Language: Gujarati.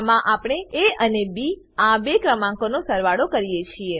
આમાં આપણે એ અને બી આ બે ક્રમાંકોનો સરવાળો કરીએ છીએ